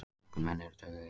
Allir menn eru dauðlegir.